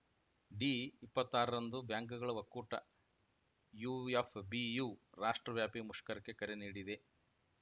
ಡಿಇಪ್ಪತ್ತಾರರಂದು ಬ್ಯಾಂಕ್‌ಗಳ ಒಕ್ಕೂಟ ಯುಎಫ್‌ಬಿಯು ರಾಷ್ಟ್ರವ್ಯಾಪಿ ಮುಷ್ಕರಕ್ಕೆ ಕರೆ ನೀಡಿದೆ